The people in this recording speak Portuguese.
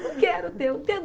Não quero o teu.